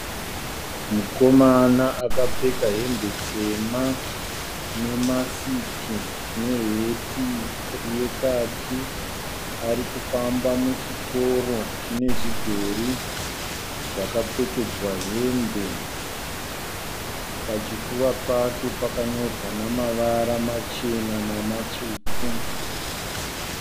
Mukomana akapfeka hembe tema, nemasiki, neheti yekaki ari kufamba muchitoro chine zvidhori zvakapfekedzwa hembe. Pachipfuva chake pakanyorwa nemavara machena nematsvuku.